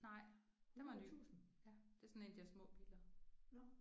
Nej den var ny. Ja det er sådan en af de der små biler